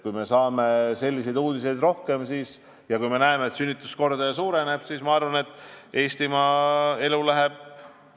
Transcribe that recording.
Kui me saame rohkem selliseid uudiseid ja kui me näeme, et sündimuskordaja suureneb, siis, ma arvan, läheb elu Eestimaal paremaks.